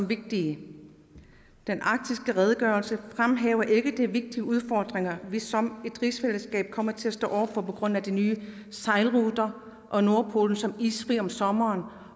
vigtig den arktiske redegørelse fremhæver ikke de vigtige udfordringer vi som rigsfællesskab kommer til at stå over for på grund af de nye sejlruter og nordpolen som isfrit område om sommeren